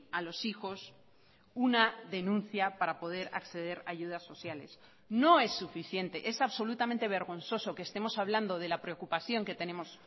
a los hijos una denuncia para poder acceder a ayudas sociales no es suficiente es absolutamente vergonzoso que estemos hablando de la preocupación que tenemos